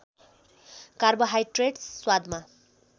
carbohydrates स्वादमा